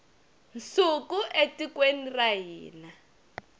nsuku etikweni ra hina